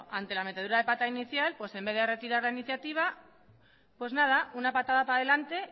ante la metedura de pata inicial pues en vez de retirar la iniciativa pues nada una patada para delante